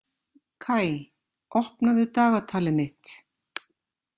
Kaj, opnaðu dagatalið mitt.